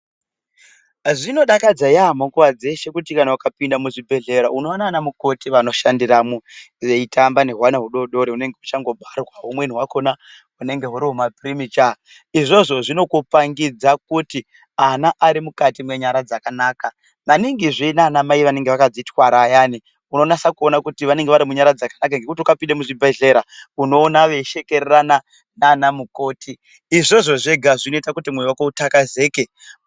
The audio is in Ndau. Zvinodakadza yamho nguwa dzeshe kuti kana ukapinda muzvibhedhlera unoona ana mukoti vanoshandiramo veitamba nehwana hudodori hunenge huchangobarwa humweni hwakona hunenge huri huma (premature) izvozvo zvinokupangidza kuti ana arimukati menyara dzakanaka maningizve nanamai anenge akadzitwara ayani unonyasa kuona kuti vanenge varimunyara dzakanaka nekuti ukapinde muzvibhedhlera unoona veishekererana nana mukoti izvozvo zvega zvinoita kuti moyo wako utakazeke.